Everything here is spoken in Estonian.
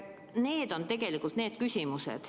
Need on tegelikult need küsimused.